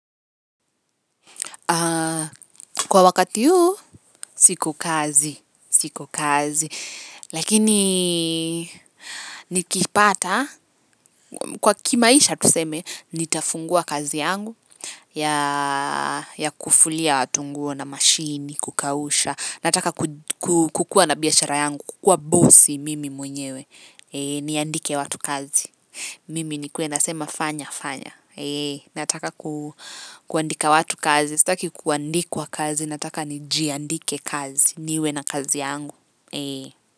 Kwa wakati huu, siko kazi, siko kazi, lakini nikipata, kwa kimaisha tuseme, nitafungua kazi yangu, ya kufulia watu nguo na mashini, kukausha, nataka kukua na biashara yangu, kukua bosi mimi mwenyewe, niandike watu kazi, mimi nikuwe nasema fanya, fanya, nataka kuandika watu kazi, sitaki kuandikwa kazi nataka ni jiandike kazi niwe na kazi yangu.